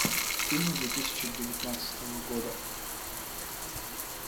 фильм две тысячи девятнадцатого года